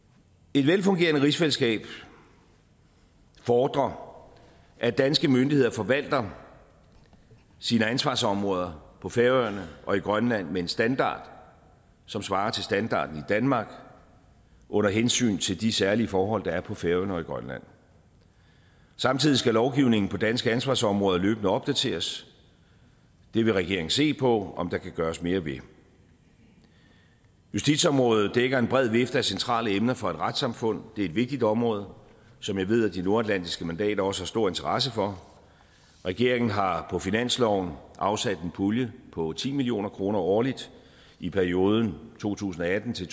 et velfungerende rigsfællesskab fordrer at danske myndigheder forvalter sine ansvarsområder på færøerne og i grønland med en standard som svarer til standarden i danmark under hensyn til de særlige forhold der er på færøerne og i grønland samtidig skal lovgivningen på danske ansvarsområder løbende opdateres det vil regeringen se på om der kan gøres mere ved justitsområdet dækker en bred vifte af centrale emner for et retssamfund det er et vigtigt område som jeg ved at de nordatlantiske mandater også har stor interesse for regeringen har på finansloven afsat en pulje på ti million kroner årligt i perioden to tusind og atten til